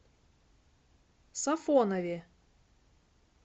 сафонове